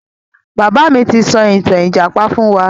Bàbá mi ti sọ ìtàn ìjàpá fún wa.